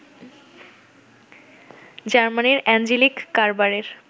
জার্মানির অ্যাঞ্জেলিক কারবারের